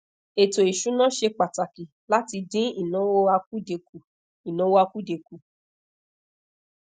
eto isuna se pataki lati din inawo akude ku inawo akude ku